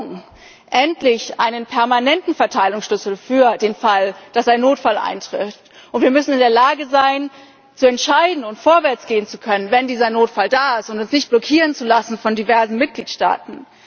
Wir brauchen endlich einen permanenten Verteilungsschlüssel für den Fall, dass ein Notfall eintritt, und wir müssen in der Lage sein, zu entscheiden und vorwärtsgehen zu können, wenn dieser Notfall da ist, und uns nicht blockieren zu lassen von diversen Mitgliedstaaten.